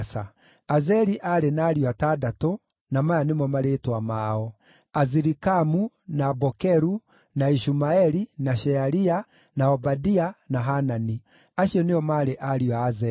Azeli aarĩ na ariũ atandatũ, na maya nĩmo marĩĩtwa mao: Azirikamu, na Bokeru, na Ishumaeli, na Shearia, na Obadia, na Hanani. Acio nĩo maarĩ ariũ a Azeli.